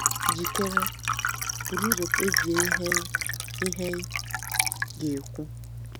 Jikere—buru ụzọ kpebie ihe ị ihe ị ga-ekwu